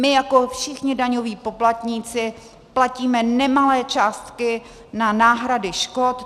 My jako všichni daňoví poplatníci platíme nemalé částky na náhrady škod.